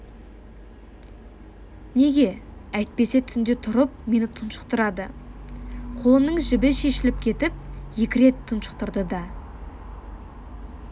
неге әйтпесе түнде тұрып мені тұншықтырады қолының жібі шешіліп кетіп екі рет тұншықтырды да